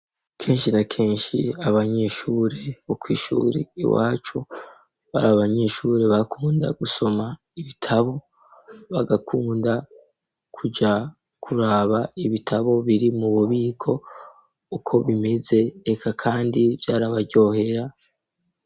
Kenshi na kenshi abanyeshure bo kw'ishuri iwacu bari abanyeshuri bakunda gusoma ibitabo bagakunda kuja kuraba ibitabo biri mu bubiko uko bimeze reka kandi vyarabaryohera.